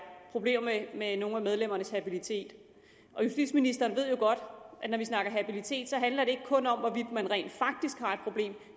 problemer med med nogle af medlemmernes habilitet og justitsministeren ved jo godt at når vi snakker om habilitet handler det ikke kun om hvorvidt man rent faktisk har et problem